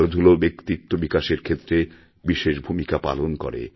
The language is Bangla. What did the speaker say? খেলাধুলা ব্যক্তিত্ব বিকাশের ক্ষেত্রে বিশেষ ভূমিকা পালনকরে